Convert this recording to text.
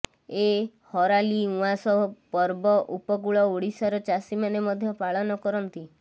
ଏ ହରାଲି ଉଆଁସ ପର୍ବ ଉପକୂଳ ଓଡିଶାର ଚାଷୀମାନେ ମଧ୍ୟ ପାଳନ କରନ୍ତି